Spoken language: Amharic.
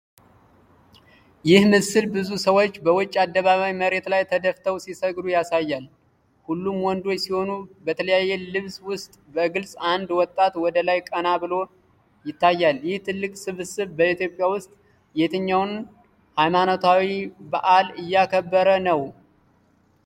ይህ ምስል ብዙ ሰዎች በውጪ አደባባይ መሬት ላይ ተደፍተው ሲሰግዱ ያሳያል። ሁሉም ወንዶች ሲሆኑ፣ በተለያየ ልብስ ውስጥ በግልጽ አንድ ወጣት ወደ ላይ ቀና ብሎ ይታያል። ይህ ትልቅ ስብስብ በኢትዮጵያ ውስጥ የትኛውን ሃይማኖታዊ በዓል እያከበረ ነው?